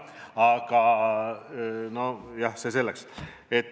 Aga jah, see selleks.